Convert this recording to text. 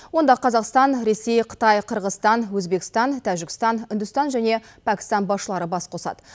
онда қазақстан ресей қытай қырғызстан өзбекстан тәжікстан үндістан және пәкістан басшылары бас қосады